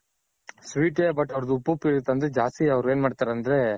sweet but ಅವರ್ದು ಉಪ್ಪುಪ್ಪು ಇರುತ್ತೆ ಅಂದ್ರೆ ಜಾಸ್ತಿ ಅವ್ರ್ ಏನ್ ಮಾಡ್ತಾರ್ ಅಂದ್ರೆ.